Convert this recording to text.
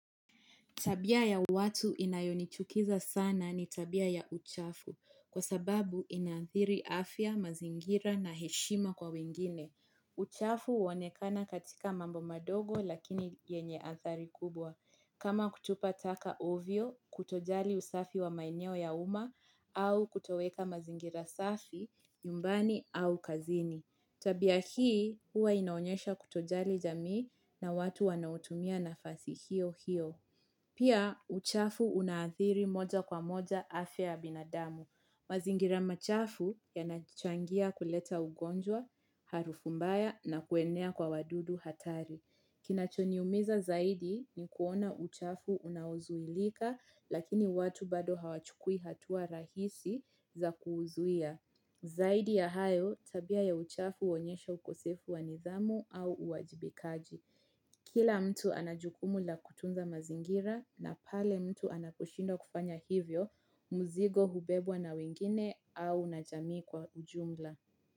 Tabia ya watu inayonichukiza sana ni tabia ya uchafu kwa sababu inathiri afya, mazingira na heshima kwa wingine. Uchafu huonekana katika mambo madogo lakini yenye athari kubwa. Kama kutupa taka ovyo, kutojali usafi wa maeneo ya uma au kutoweka mazingira safi, nyumbani au kazini. Tabia hii huwa inaonyesha kutojali jamii na watu wanautumia nafasi hiyo hiyo. Pia uchafu unaathiri moja kwa moja afia ya binadamu. Mazingira machafu yanachangia kuleta ugonjwa, harufu mbaya na kuenea kwa wadudu hatari. Kinacho niumiza zaidi ni kuona uchafu unaozuilika lakini watu bado hawachukui hatua rahisi za kuuzuia. Zaidi ya hayo, tabia ya uchafu huonyesha ukosefu wa nidhamu au uwajibikaji. Kila mtu anajukumu la kutunza mazingira na pale mtu anaposhindwa kufanya hivyo mzigo hubebwa na wengine au na jamii kwa ujumla.